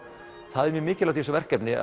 það er mjög mikilvægt í þessu verkefni